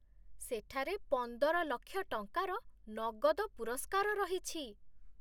ସେଠାରେ ପନ୍ଦର ଲକ୍ଷ ଟଙ୍କାର ନଗଦ ପୁରସ୍କାର ରହିଛି।